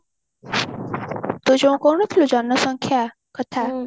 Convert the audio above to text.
ତୁ ଯୋଉ କହୁନଥିଲୁ ଜନସଂଖ୍ୟା କଥା